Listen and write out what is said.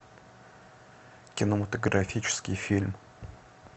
кинематографический фильм